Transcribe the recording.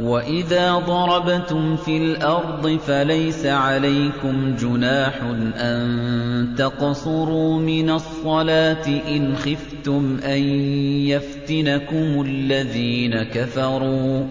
وَإِذَا ضَرَبْتُمْ فِي الْأَرْضِ فَلَيْسَ عَلَيْكُمْ جُنَاحٌ أَن تَقْصُرُوا مِنَ الصَّلَاةِ إِنْ خِفْتُمْ أَن يَفْتِنَكُمُ الَّذِينَ كَفَرُوا ۚ